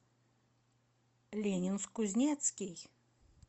ленинск кузнецкий